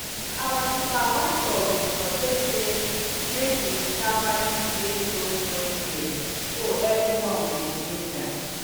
our supervisor been suggest say make we sharply play stone throwing game so every one go ginger